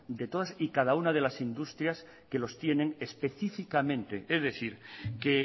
de todas y cada una de las industrias que los tienen específicamente es decir que